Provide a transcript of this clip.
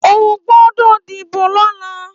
Óogbòdò díbó lòlá